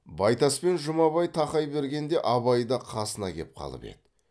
байтас пен жұмабай тақай бергенде абай да қасына кеп қалып еді